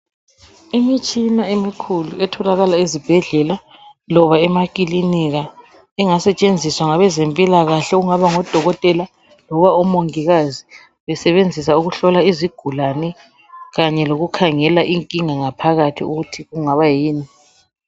Imitshina emikhulu etholakala ezibhedlela loba emaklinika engasetshenziswa ngabezempilakahle okungaba ngodokotela loba omongikazi besebenzisa ukuhlola izigulane kanye lokukhangela inkinga ngaphakathi.